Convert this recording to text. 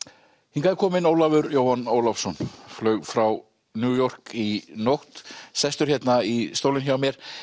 hingað er kominn Ólafur Jóhann Ólafsson flaug frá New York í nótt sestur hérna í stólinn hjá mér